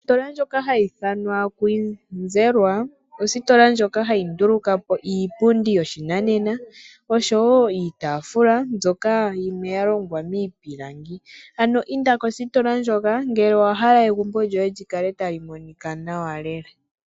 Ositola ndjoka hayi ithanwa "Kwizerwa" ositola ndjoka hayi nduluka po iipundi yoshinanena osho wo iitafula mbyoka yimwe ya longwa miipilangi, ano inda kositola ndjoka ngele owa hala egumbo lyoye tali monika nawa lela.